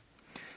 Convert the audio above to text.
Bilmirdim.